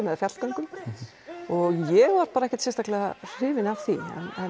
eða fjallgöngum og ég var ekkert sérstaklega hrifin af því